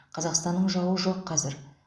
қазақстанның жауы жоқ қазір